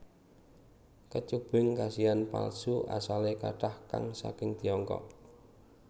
Kecubung kasihan palsu asalé kathah kang saking Tiongkok